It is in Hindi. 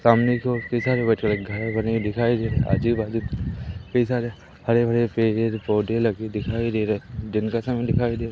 सामने की ओर कई सारे घर बने हुए दिखाई दे रहे आजू-बाजू कई सारे हरे-भरे पेड़-पौधे लगे दिखाई दे रहे दिन का समय दिखाई दे --